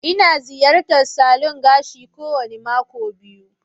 Ina ziyartar salon gashi kowane mako biyu.